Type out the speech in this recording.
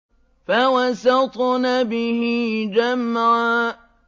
فَوَسَطْنَ بِهِ جَمْعًا